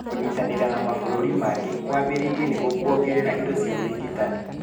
Kũnyitanĩra na mabũrũri mangĩ kwambĩrĩire nĩguo kwongerere indo cia ũrigitani